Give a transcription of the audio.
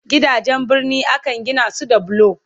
Gidajen birni Akan Gina su da bulo